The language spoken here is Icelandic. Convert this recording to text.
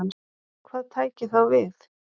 Hvað tæki þá við?